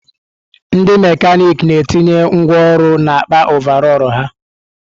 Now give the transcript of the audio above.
Ndị mekanịkị na-etinye ngwá ọrụ n'akpa ọvarọọr ha.